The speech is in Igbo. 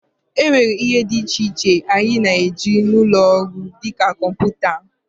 e nwere ihe dị iche iche anyị na-eji n'ụlọ ọrụ, dị ka kọmputa